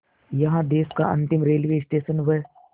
यहाँ देश का अंतिम रेलवे स्टेशन व